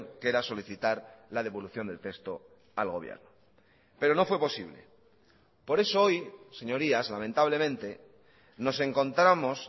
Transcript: que era solicitar la devolución del texto al gobierno pero no fue posible por eso hoy señorías lamentablemente nos encontramos